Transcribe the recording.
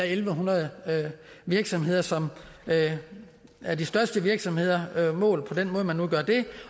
en hundrede virksomheder som er de største virksomheder målt på den måde man nu gør det